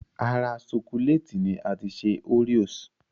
Ara ṣokolẹ́ẹ̀tì ni a ti ṣe oreos